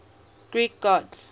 greek gods